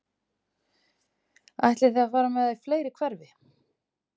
Ætlið þið að fara með það í fleiri hverfi?